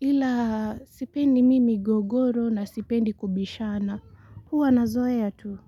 ila sipendi mimi gogoro na sipendi kubishana huwa nazoea tu.